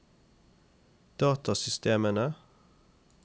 datasystemene